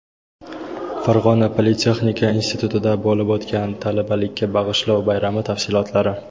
Farg‘ona politexnika institutida bo‘lib o‘tgan "Talabalikka bag‘ishlov" bayrami tafsilotlari.